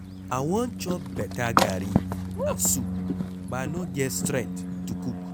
I wan chop beta garri and soup but I no get strength to go cook.